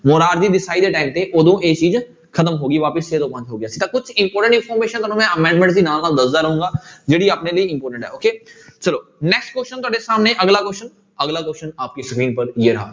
ਦੇ time ਤੇ ਉਦੋਂ ਇਹ ਚੀਜ਼ ਖ਼ਤਮ ਹੋ ਗਈ ਵਾਪਸ ਛੇ ਤੋਂ ਪੰਜ ਹੋ ਗਿਆ ਸੀ ਤਾਂ ਕੁਛ important information ਤੁਹਾਨੂੰ ਮੈਂ amendment ਦੀ ਨਾਲ ਨਾਲ ਦੱਸਦਾਂ ਰਹਾਂਗਾ ਜਿਹੜੀ ਆਪਣੇ ਲਈ important ਹੈ okay ਚਲੋ next question ਤੁਹਾਡੇ ਸਾਹਮਣੇ ਅਗਲਾ question ਅਗਲਾ question ਆਪਕੀ screen ਪਰ ਯੇ ਰਹਾ।